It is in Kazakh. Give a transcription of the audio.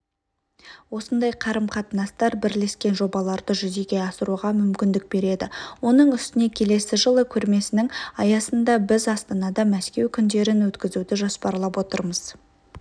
осындай қарым-қатынастар бірлескен жобаларды жүзеге асыруға мүмкіндік береді оның үстіне келесі жылы көрмесінің аясында біз астанада мәскеу күндерін өткізуді жоспарлап отырмыз